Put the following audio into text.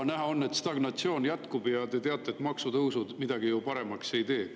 Näha on, et stagnatsioon jätkub, ja te teate, et maksutõusud midagi paremaks ei tee.